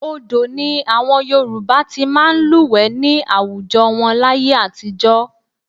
Odò ni àwọn Yorùbá ti máa ń lúwẹ̀ẹ́ ní àwùjọ wọn láyé àtijọ́